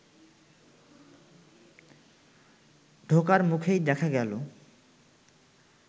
ঢোকার মুখেই দেখা গেল